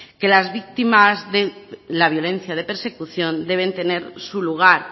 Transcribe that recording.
que las víctimas de la violencia de persecución deben tener su lugar